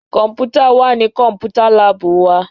Kọ́mpútà wà ní Kọ́mpútà láàbù wa